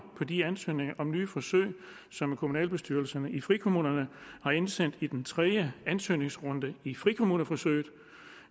på de ansøgninger om nye forsøg som kommunalbestyrelserne i frikommunerne har indsendt i den tredje ansøgningsrunde i frikommuneforsøget